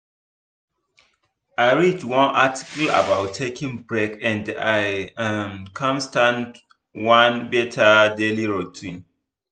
i read one article about taking break and i um come start one better daily routine.